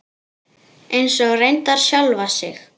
Eins og reyndar sjálfa sig.